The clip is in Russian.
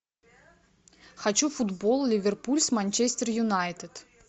хочу футбол ливерпуль с манчестер юнайтед